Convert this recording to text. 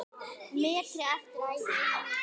metri eftir af ævi minni.